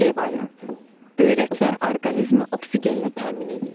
C variantı: Böyrəklər orqanizmi oksigenlə təmin eləyir.